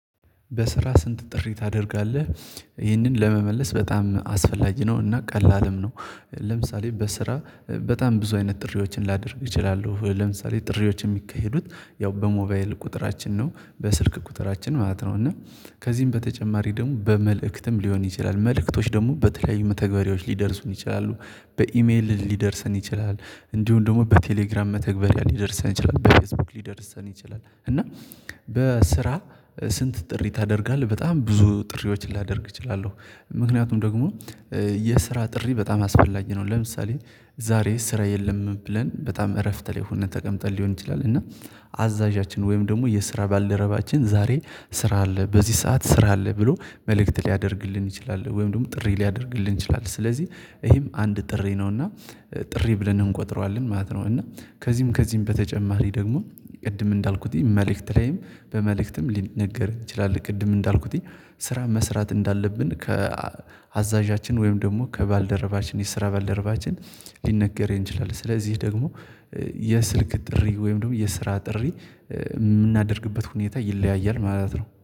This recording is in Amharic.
በስራ ስንት ጥሪ ታደርጋለህ? ይህንን ለመመለስ በጣም አስፈላጊ ነው እና ቀላልም ነው። ለምሳሌ በስራ በጣም ብዙ አይነት ጥሪዎችን ላደርግ እችላለሁ ለምሳሌ ጥሪዎች የሚካሄዱት ያው በሞባይል ቁጥራችን ነው በስልክ ቁጥራችን ማለት ነው። እና ከዚህም በተጨማሪ ደግሞ በመልእክትም ሊሆን ይችላል መልእክቶች ደግሞ በተለያዩ መተግበሪያዎች ሊደርሱን ይችላሉ። በኢሜል ሊደርሰን ይችላል። እንዲሁም ደግሞ በቴሌግራም መተግበሪያ ሊደርሰን ይችላል በፌስቡክ ሊደርሰን ይችላል እና። በስራ ስንት ጥሪ ታደርጋለህ? በጣም ብዙ ጥሪዎችን ላደርግ እችላለሁ። ምክንያቱም ደግሞ የስራ ጥሪ በጣም አስፋላጊ ነው። ለምሳሌ ዛሬ ስራ የለም ብለን በጣም እረፍት ላይ ሆነን ተቀምጠን ሊሆን ይችላል እና አዛዣችን ወይም ደግሞ የስራ ባልደረባችን ዛሬ ስራ አለ በዚህ ሰዓት ስራ አለ ብሎ መልእክት ሊያደርግልን ይችላል ወይም ደግሞ ጥሪ ሊያደርግልን ይችላል። ስለዚህ ይሄም አንድ ጥሪ ነውና ጥሪ ብለን እንቆጥረዋለን ማለት ነው። እና ከዚህም ከዚህም በተጨማሪ ደግሞ ቅድም እንዳልኩትኝ መልእክት ላይም በመልእክትም ሊነገር ይችላል። ቅድም እንዳልኩት ስራ መስራት እንዳለብን ከአዛዣችን ወይም ደግሞ ከባልደረባችን የስራ ባልደረባችን ሊነገር ይችላል። ስለዚህ ደግሞ የስልክ ጥሪ ወይም ደግሞ የስራ ጥሪ የምናደርግበት ሁኔታ ይለያያል ማለት ነው